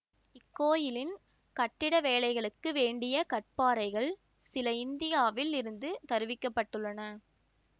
இக்கோயிலின் கட்டிட வேலைகளுக்கு வேண்டிய கற்பாறைகள் சில இந்தியாவில் இருந்து தருவிக்கப்பட்டுள்ளன